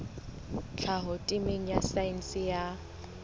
tlhaho temeng ya saense ya